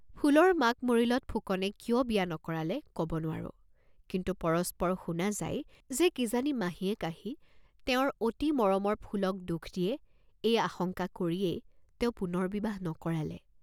ফুলৰ মাক মৰিলত ফুকনে কিয় বিয়া নকৰালে কব নোঁৱাৰো, কিন্তু পৰস্পৰ শুনা যায় যে কি জানি মাহীয়েক আহি তেওঁৰ অতি মৰমৰ ফুলক দুখ দিয়ে এই আশংকা কৰিয়েই তেওঁ পূণৰ্বিবাহ নকৰালে।